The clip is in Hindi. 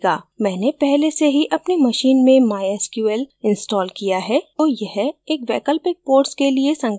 मैंने पहले से ही अपनी machine में mysql installed किया है तो यह एक वैकल्पिक port के लिए संकेत देगा